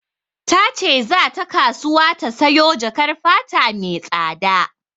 Ta ce za ta kasuwa ta sayo jakar fata mai tsada.